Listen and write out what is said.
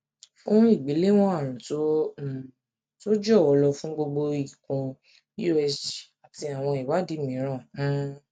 fún ìgbéléwọn àrùn tó um tọ jọwọ lọ fún gbogbo ikùn usg àti àwọn ìwádìí mìíràn um